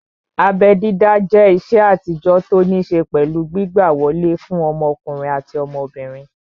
Abẹ́ dídá jẹ́ ìṣe àtijọ́ tó ní ṣé pẹ̀lú gbígbà wọlé fún ọmọkùnrin àti ọmọbìnrin